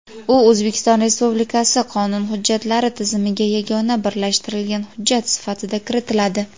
u O‘zbekiston Respublikasi qonun hujjatlari tizimiga yagona birlashtirilgan hujjat sifatida kiritiladi.